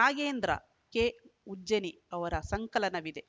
Nagendra K Ujjani ಅವರ ಸಂಕಲನವಿದೆ